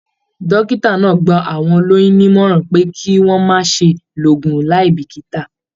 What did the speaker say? Dókítà náà gbà àwọn olóyún nímọ̀ràn pé kí wọn má ṣe lo oògùn láì bikita.